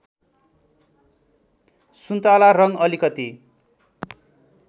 सुन्तला रङ्ग अलिकति